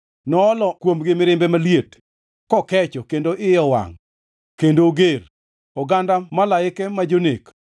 Ne oolo kuomgi mirimbe maliet, kokecho kendo iye owangʼ kendo oger; oganda malaike ma jonek.